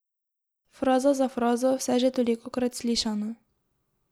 Fraza za frazo, vse že tolikokrat slišano.